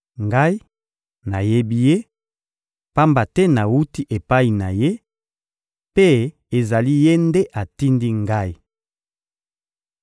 Ngai, nayebi Ye, pamba te nawuti epai na Ye, mpe ezali Ye nde atindi Ngai.